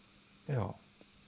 já